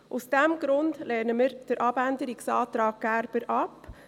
Aus diesem Grund lehnen wir den Abänderungsantrag Gerber ab.